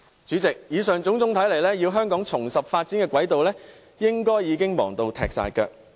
主席，以上種種所見，香港要重拾發展軌道，應該已經忙得不可開交。